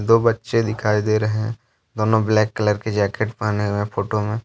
दो बच्चें दिखाई दे रहे हैं दोनों ब्लैक कलर के जैकेट पहने हुए हैं फोटो में।